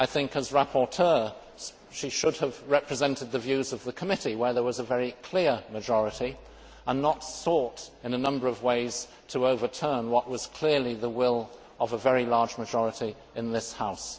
As rapporteur, she should have represented the views of the committee, where there was a very clear majority, and not sought in a number of ways to overturn what was clearly the will of a very large majority in this House.